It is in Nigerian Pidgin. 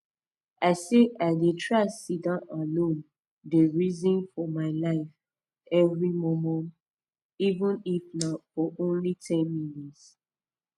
i say i de try sitdon alone dey reson for my life every momo even if nah for only ten minutes